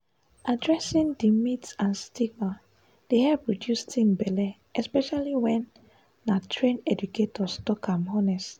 addressing di myths and stigma dey help reduce teen belle especially when na trained educators talk am honest.